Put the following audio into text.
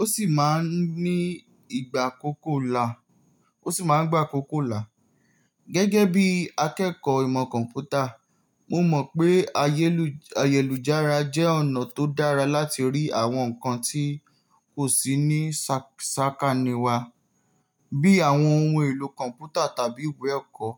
ó sì máa ń gba kókó là. Gẹ́gẹ́ bí akẹ́kọ̀ọ́ ìmọ̀ kọ̀ḿpútà, mo mọ̀ pé ayélujára jẹ́ ọ̀nà tó dára láti rí àwọn nǹkan tí kò sí ní ṣákan ni wa, bí i àwọn ohun èlò kọ̀ḿpútà tàbí ìwé ẹ̀kọ́.